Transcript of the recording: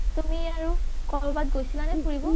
তুমি আৰু কৰবাত গৈছিলা নে ফুৰিব?